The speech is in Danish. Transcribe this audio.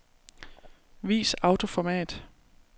Vis autoformat.